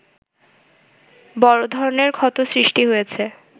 বড় ধরনের ক্ষত সৃষ্টি হয়েছে